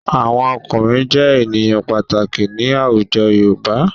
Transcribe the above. Àwọn ọkùnrin jẹ́ ènìyàn pàtàkì ní àwùjọ Yorùbá.